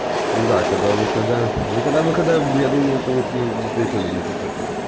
ну да когда выхода ну когда выхода я думаю о том что надо подумать